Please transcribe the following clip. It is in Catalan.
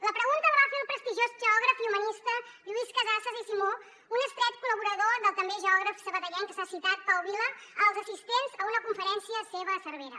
la pregunta la va fer el prestigiós geògraf i humanista lluís casassas i simó un estret col·laborador del també geògraf sabadellenc que s’ha citat pau vila als assistents a una conferència seva a cervera